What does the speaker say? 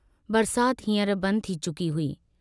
बरसात हीं अर बंद थी चुकी हुई।